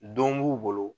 Don b'u bolo